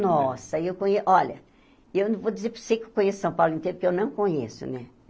Nossa, eu conhe olha, eu não vou dizer para você que eu conheço São Paulo inteiro, porque eu não conheço, né?